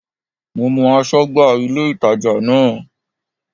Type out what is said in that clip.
Mo mọ aṣọ́gbà ilé-ìtàjà náà